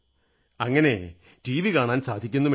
അങ്ങനെ T V കാണാൻ സാധിക്കുന്നുമില്ല